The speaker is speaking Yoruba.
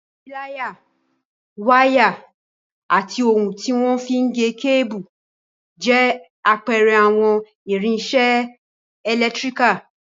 Píláyà, wáyà, ati ohun tí wọ́n fi n gé kébù, jẹ́ àpẹẹrẹ àwọn irinṣẹ́ ẹlẹtíríkà